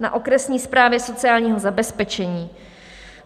na okresní správě sociálního zabezpečení.